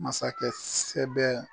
Masakɛ sɛɛbɛ